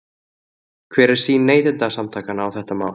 Hver er sýn Neytendasamtakanna á þetta mál?